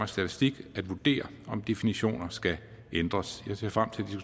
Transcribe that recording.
statistik at vurdere om definitioner skal ændres jeg ser frem